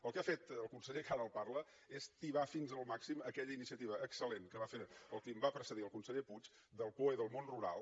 el que ha fet el conseller que ara li parla és tibar fins al màxim aquella iniciativa excel·lent que va fer el qui em va precedir el conseller puig del poe del món rural